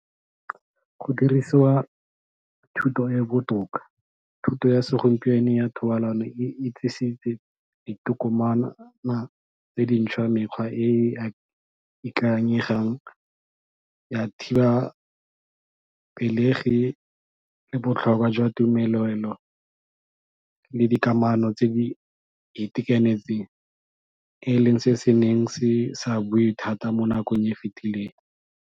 Go dirisiwa thuto e e botoka, thuto ya segompieno ya thobalano e e tse di ntšhwa mekgwa e e ikanyegang ya thiba pelegi le botlhokwa jwa tumelelo le dikamano tse di itekanetseng e leng se se neng se sa buiwe thata mo nakong e e fetileng.